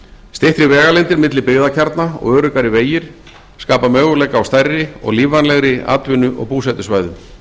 styttri vegalengdir milli byggðakjarna og öruggari vegir skapa möguleika á stærri og lífvænlegri atvinnu og búsetusvæðum